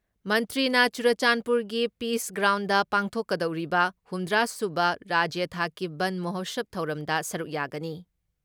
ꯃꯟꯇ꯭ꯔꯤꯅ ꯆꯨꯔꯆꯥꯟꯄꯨꯔꯒꯤ ꯄꯤꯁ ꯒ꯭ꯔꯥꯎꯟꯗ ꯄꯥꯡꯊꯣꯛꯀꯗꯧꯔꯤꯕ ꯍꯨꯝꯗ꯭ꯔꯥ ꯁꯨꯕ ꯔꯥꯖ꯭ꯌ ꯊꯥꯛꯀꯤ ꯕꯟ ꯃꯣꯍꯁꯕ ꯊꯧꯔꯝꯗ ꯁꯔꯨꯛ ꯌꯥꯒꯅꯤ ꯫